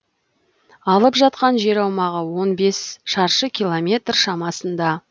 алып жатқан жер аумағы он бес шаршы километр шамасында